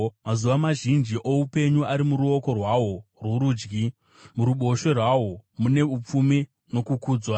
Mazuva mazhinji oupenyu ari muruoko rwahwo rworudyi; muruboshwe rwahwo mune upfumi nokukudzwa.